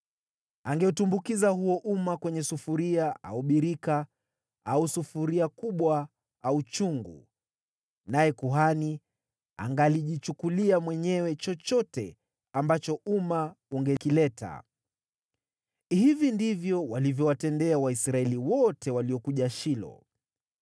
Angeutumbukiza huo uma kwenye sufuria au birika au sufuria kubwa au chungu, naye kuhani angalijichukulia mwenyewe chochote ambacho uma ungekileta. Hivi ndivyo walivyowatendea Waisraeli wote waliokuja Shilo.